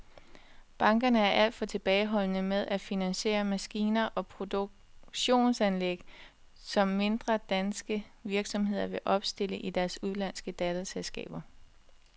Bankerne er alt for tilbageholdende med at finansiere maskiner og produktionsanlæg, som mindre danske virksomheder vil opstille i deres udenlandske datterselskaber.